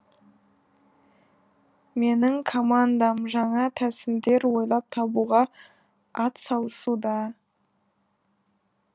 менің командам жаңа тәсілдер ойлап табуға атсалысуда